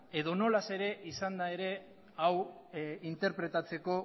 edonola ere izanda ere hau interpretatzeko